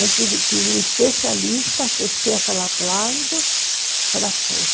Aí teve que um especialista aquecer aquela plasma para pôr.